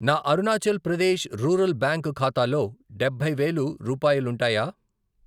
నా Arunachal Pradesh rural bank ఖాతాలో డబ్బై వేలు రూపాయాలుంటాయా?